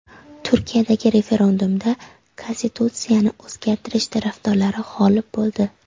Turkiyadagi referendumda konstitutsiyani o‘zgartirish tarafdorlari g‘olib bo‘ldi.